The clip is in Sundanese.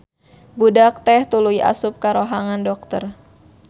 Budak teh tuluy asup ka rohangan dokter.